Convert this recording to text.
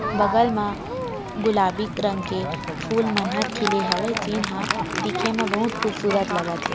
बगल में गुलाबी रंग के फुल मन हर खिले हावय जेन ह दिखे म बहुत खुबसूरत लगत थे।